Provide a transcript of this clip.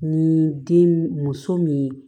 Ni den muso min